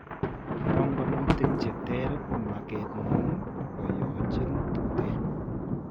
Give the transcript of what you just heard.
Panganutik chetere makeetngung' koyochin tuteen